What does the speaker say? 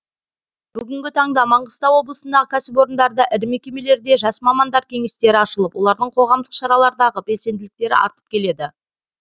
бүгінгі таңда маңғыстау облысындағы кәсіпорындарда ірі мекемелерде жас мамандар кеңестері ашылып олардың қоғамдық шаралардағы белсенділіктері артып келеді